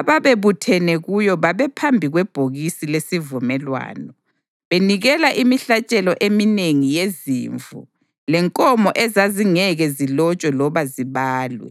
ababebuthene kuye babephambi kwebhokisi lesivumelwano, benikela imihlatshelo eminengi yezimvu lenkomo ezazingeke zilotshwe loba zibalwe.